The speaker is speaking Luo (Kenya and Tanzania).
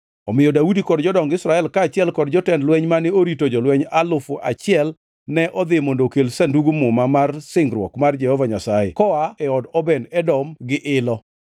Omiyo Daudi kod jodong Israel kaachiel gi jotend lweny mane orito jolweny alufu achiel ne odhi mondo okel Sandug Muma mar singruok mar Jehova Nyasaye koa e od Obed-Edom gi ilo.